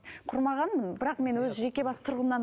құрмағанмын бірақ мен өз жеке бас тұрғымнан